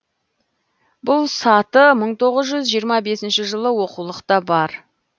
бұл саты мың тоғыз жүз жиырма бесінші жылы оқулықта бар